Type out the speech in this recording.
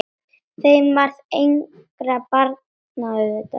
Þeim varð engra barna auðið.